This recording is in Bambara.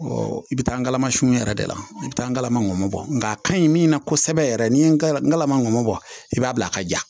i bɛ taala masini yɛrɛ de la i bɛ taa n kala manbɔ nka a ka ɲi min na kosɛbɛ yɛrɛ ni n ka n kalamanbɔ i b'a bila a ka ja